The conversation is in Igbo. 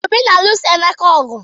Obi na-alụso Emeka ọgụ